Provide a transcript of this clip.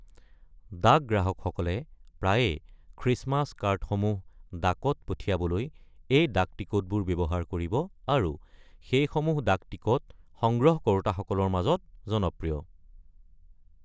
ডাক গ্ৰাহকসকলে প্ৰায়ে খ্ৰীষ্টমাছ কাৰ্ডসমূহ ডাকত পঠিয়াবলৈ এই ডাকটিকটবোৰ ব্যৱহাৰ কৰিব, আৰু সেইসমূহ ডাকটিকট সংগ্ৰহ কৰোঁতাসকলৰ মাজত জনপ্ৰিয়।